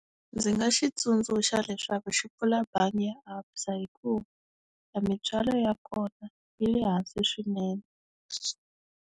Ndzi nga xi tsundzuxa leswaku xi pfula bangi ya ABSA hikuva mintswalo ya kona yi le hansi swinene.